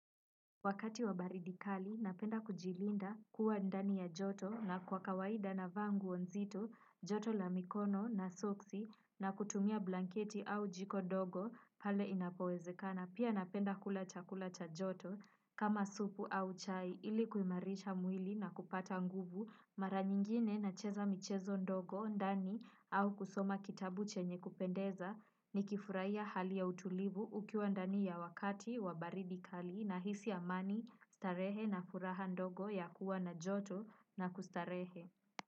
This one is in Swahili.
Wakati wa baridi kali napenda kujilinda kuwa ndani ya joto na kwa kawaida navaa nguo nzito joto la mikono na soksi na kutumia blanketi au jiko dogo pale inapowezekana pia napenda kula chakula cha joto kama supu au chai ilikuimarisha mwili na kupata nguvu mara nyingine nacheza michezo ndogo ndani au kusoma kitabu chenye kupendeza nikifuraia hali ya utulivu ukiwa ndani ya wakati wa baridi kali nahisi amani starehe na furaha ndogo ya kuwa na joto na kustarehe.